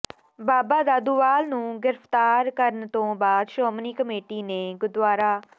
ਬਾਬਾ ਦਾਦੂਵਾਲ ਨੂੰ ਗ੍ਰਿਫਤਾਰ ਕਰਨ ਤੋਂ ਬਾਅਦ ਸ਼੍ਰੋਮਣੀ ਕਮੇਟੀ ਨੇ ਗੁ